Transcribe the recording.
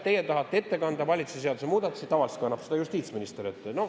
Teie tahtsite ette kanda valitsuse seaduse muudatusi, kuigi tavaliselt kannab neid justiitsminister ette.